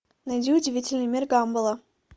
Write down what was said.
найди удивительный мир гамбола